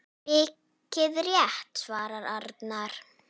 Mikið rétt svarar Arnar.